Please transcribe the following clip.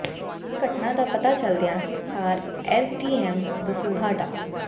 ਇਸ ਘਟਨਾ ਦਾ ਪਤਾ ਚੱਲਦਿਆਂ ਸਾਰ ਐੱਸ ਡੀ ਐੱਮ ਦਸੂਹਾ ਡਾ